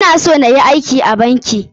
Ina son nayi aiki a banki.